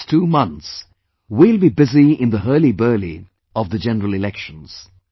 In the next two months, we will be busy in the hurlyburly of the general elections